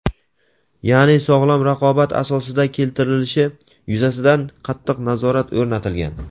ya’ni sog‘lom raqobat asosida keltirilishi yuzasidan qattiq nazorat o‘rnatilgan.